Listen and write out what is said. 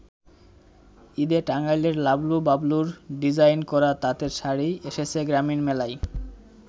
ঈদে টাঙ্গাইলের লাবলু-বাবলুর ডিজাইন করা তাঁতের শাড়ি এসেছে গ্রামীণ মেলায়।